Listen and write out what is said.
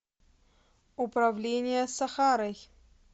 управление сахарой